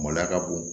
Maloya ka bon